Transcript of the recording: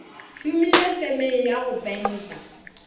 šomile femeng ya go penta